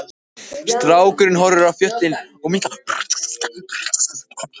Strákurinn horfir á fjöllin minnka, þau virðast sökkva í hafið.